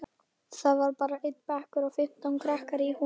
Það var bara einn bekkur og fimmtán krakkar í honum.